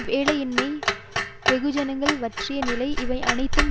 வேலையின்மை வெகுஜனங்களின் வற்றிய நிலை இவை அனைத்தும்